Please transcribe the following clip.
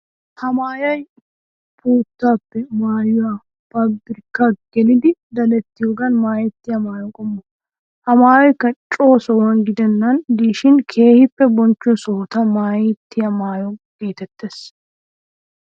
Ha maayoy puuttuwaappe maayuwa paabirkan gelidi dadettiyogan maayettiya maayo qommo. Ha maayoykka co sohuwan gidennan diishin keehippe bonchcho sohota maayettiya maayo geetettees.